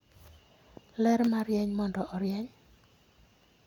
ler marieny mondo orieny.